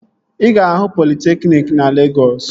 Ị ga-ahụ politekniki na Legọs